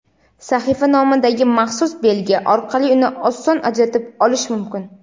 sahifa nomidagi maxsus belgi orqali uni oson ajratib olish mumkin.